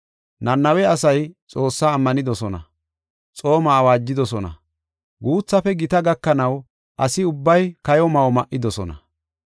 Nanawe asay Xoossaa ammanidosona. Xooma awaajidosona; guuthafe gita gakanaw asi ubbay kayo ma7o ma7idosona.